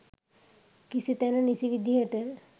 නිසි තැන නිසි විදියට